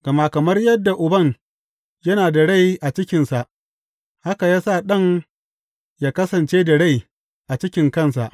Gama kamar yadda Uban yana da rai a cikinsa, haka ya sa Ɗan yă kasance da rai a cikin kansa.